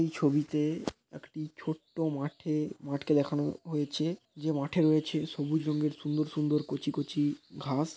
এই ছবিতে একটি ছোট্ট মাঠে মাঠকে দেখানো হয়েছে। যে মাঠের নিচে সবুজ রঙের সুন্দর সুন্দর কচি কচি ঘাস।